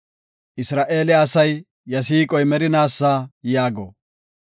Isra7eele asay, “Iya siiqoy merinaasa” yaago.